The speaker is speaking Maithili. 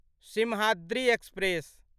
सिम्हाद्रि एक्सप्रेस